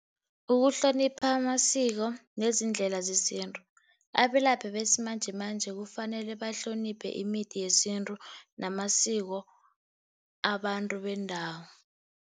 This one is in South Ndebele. Ukuhlonipha masiko nezindlela zesintu, abelaphi besimanjemanje kufanele bahloniphe imithi yesintu namasiko abantu bendawo.